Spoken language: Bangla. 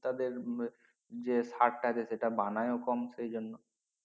তাদের উম যে সার টা সে যেটা বানায় কম সে জন্য